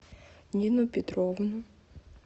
нину петровну